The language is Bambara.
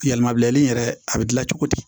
Yɛlɛmabilali in yɛrɛ a bɛ dilan cogo di